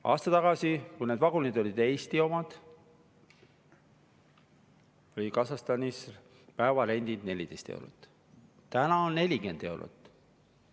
Aasta tagasi, kui need vagunid olid Eesti omad, oli Kasahstanis päevarent 14 eurot, täna on 40 eurot.